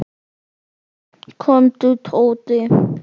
Komdu, Tóti.